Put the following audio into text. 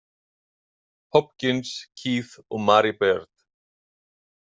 Hopkins, Keith og Mary Beard.